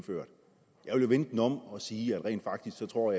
vende den om og sige at jeg rent faktisk tror